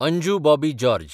Anju Bobby George